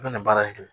U bɛna baara in kɛ